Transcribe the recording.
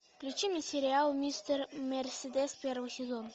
включи мне сериал мистер мерседес первый сезон